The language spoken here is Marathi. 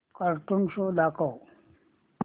कार्टून शो दाखव